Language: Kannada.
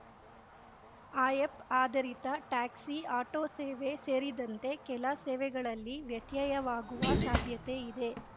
ಆಯಪ್‌ ಆಧರಿತ ಟ್ಯಾಕ್ಸಿ ಆಟೋ ಸೇವೆ ಸೇರಿದಂತೆ ಕೆಲ ಸೇವೆಗಳಲ್ಲಿ ವ್ಯತ್ಯಯವಾಗುವ ಸಾಧ್ಯತೆಯಿದೆ